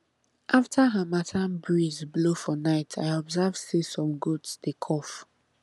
after harmattan breeze blow for night i observe say some goats dey cough